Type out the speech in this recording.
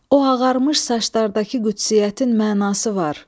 O ağarmış saçlardakı qüdsiyyətin mənası var.